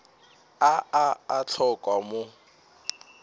a a a hlokwa mo